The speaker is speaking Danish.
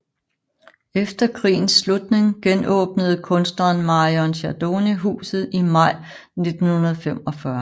Efter krigens slutning genåbnede kunstneren Marion Spadoni huset i maj 1945